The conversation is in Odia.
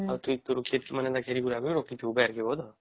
ଆଉ ଟୁଇ ତୋର ଖେତ କେ ମାନେ ଘେର ଘୁରକେ ରଖିଥିବୁ ମାନେ ବାରିକେ ବଧ